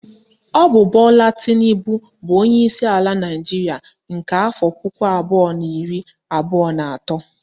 Ọ bụ Bola Tinubu bụ onyeisi ala Naịjiria nke afọ puku abụọ na iri abụọ na atọ